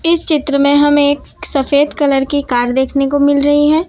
इस चित्र में हम एक सफेद कलर की कार देखने को मिल रही है।